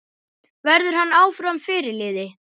Verður hann áfram fyrirliði?